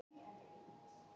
Ársæll Eiríksson kímdi.